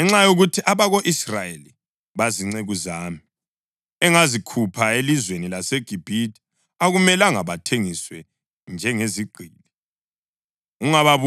Ngenxa yokuthi abako-Israyeli bazinceku zami engazikhupha elizweni laseGibhithe, akumelanga bathengiswe njengezigqili.